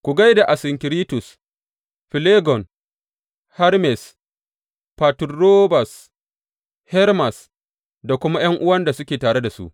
Ku gai da Asinkiritus, Filegon, Hermes, Faturobas, Hermas da kuma ’yan’uwan da suke tare da su.